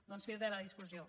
doncs fi de la discussió